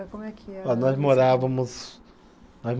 Eh, como é que era, nós morávamos, nós